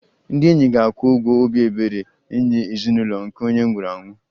Ndị enyi ga-akwụ ụgwọ obi ebere nye ezinụlọ nke onye nwụrụ anwụ